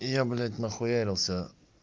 я блядь нахуярился